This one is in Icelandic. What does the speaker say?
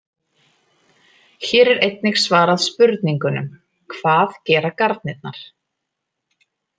Hér er einnig svarað spurningunum: Hvað gera garnirnar?